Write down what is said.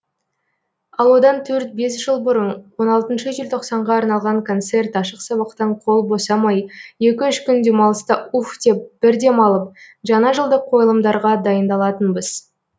ал одан төрт бес жыл бұрын он алтыншы желтоқсанға арналған концерт ашық сабақтан қол босамай екі үш күн демалыста уф деп бір демалып жаңа жылдық қойылымдарға дайындалатынбыз